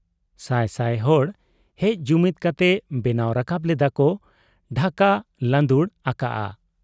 ᱥᱟᱭ ᱥᱟᱭ ᱦᱚᱲ ᱦᱮᱡ ᱡᱩᱢᱤᱫ ᱠᱟᱛᱮ ᱵᱮᱱᱟᱣ ᱨᱟᱠᱟᱵ ᱞᱮᱫᱟᱜ ᱠᱚ ᱰᱷᱟᱠᱟ ᱞᱟᱺᱫᱩᱲ ᱟᱠᱟᱜ ᱟ ᱾